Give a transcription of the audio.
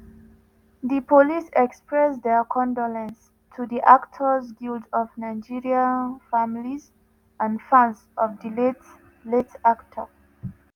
di police express dia condolence to di actors guild of nigeria families and fans of di late late actor.